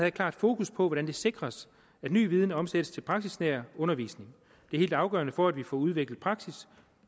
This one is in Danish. et klart fokus på hvordan det sikres at ny viden omsættes til praksisnær undervisning det er helt afgørende for at vi får udviklet praksis